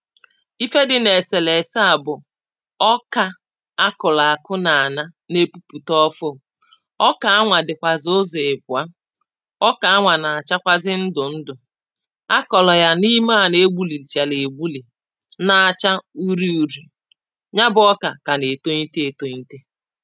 ife dị n’ eselese à, bụ̀ ọkà akọ̀là akụ̀, nà-ànà um na-epuputa ofụụ̇, ọkà anwà dị̀kwàzà ụzọ̀ èkwụa, ọkà anwà nà-àchakwazị um ndụ̀ ndụ̀, akọ̀là ya n’ ime à, nà-egbulìchàlà egbulì, na-acha uri uri̇. Ya bụ, ọkà kà nà-ètonyite, ètonyite.